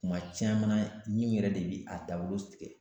Kuma caman na ɲin yɛrɛ de bi a dawolo tigɛ